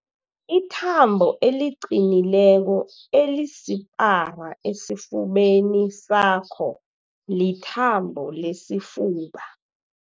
Ithambo eliqinileko elisipara esifubeni sakho lithambo lesifuba.